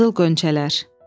Qızıl Gönçələr.